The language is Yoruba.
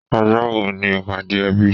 Ọjọ́ wo ni ìpàdé ẹbí?